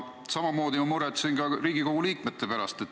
Samamoodi muretsen ma ka Riigikogu liikmete pärast.